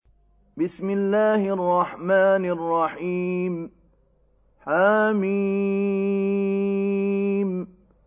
حم